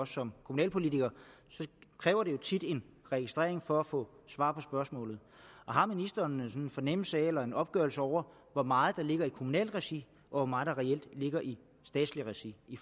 som kommunalpolitikere kræver det tit en registrering for at få svar på spørgsmålet har ministeren en fornemmelse af eller en opgørelse over hvor meget der ligger i kommunalt regi og hvor meget der reelt ligger i statsligt regi i